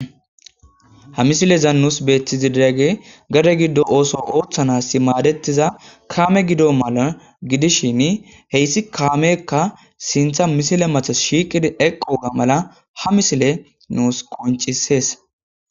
ha misilezan nuus beethizi diegge gade giddo ooso ooththanasi maadettiza kaame gido mala gidishin heyssi kaamekka sintha misile mathas shiiqidi eqqoga mala ha misile nuus qoncisees